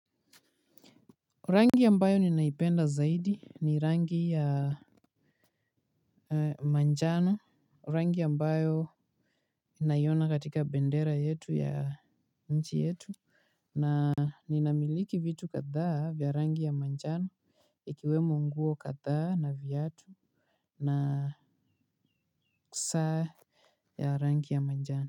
Rangi ya ambayo ninaipenda zaidi ni rangi ya manjano, rangi ya ambayo ninaiona katika bendera yetu ya nchi yetu. Na nina miliki vitu kadhaa vya rangi ya manjano ikiwemo nguo kadhaa na viatu na saa ya rangi ya manjano.